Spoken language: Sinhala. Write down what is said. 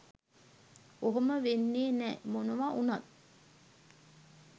ඔහොම වෙන්නේ නෑ මොනවා වුනත්